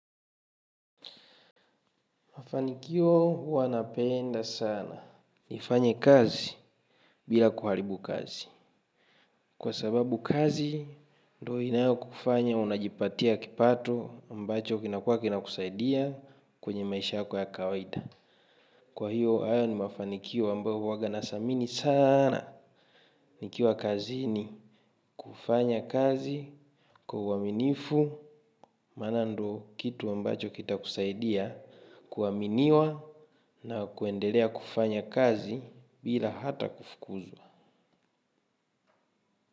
Mafanikio huwa napenda sana. Nifanye kazi bila kuharibu kazi. Kwa sababu kazi, ndo inayo kufanya unajipatia kipato ambacho kinakua kina kusaidia kwenye maisha yako ya kawaida. Kwa hiyo hayo ni mafanikio ambayo huwaga nasamini sana. Nikiwa kazini kufanya kazi, kwa uaminifu, maana ndo kitu mbacho kita kusaidia, kuwaminiwa na kuendelea kufanya kazi bila hata kufukuzwa.